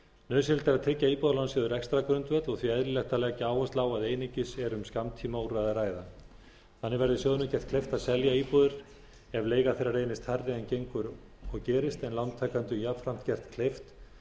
nauðsynlegt er að tryggja íbúðalánasjóði rekstrargrundvöll og því eðlilegt að leggja áherslu á að einungis er um skammtímaúrræði að ræða þannig verði sjóðnum gert kleift að selja íbúðir ef leiga þeirra reynist hærri en gengur og gerist en lántakendum jafnframt gert kleift